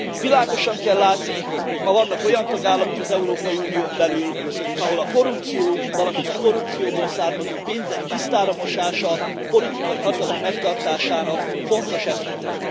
Világosan kell látni, hogy ma vannak olyan tagállamok az Európai Unión belül, ahol a korrupció, valamint a korrupcióból származó pénzek tisztára mosása a politikai hatalom megtartásának fontos eszköze.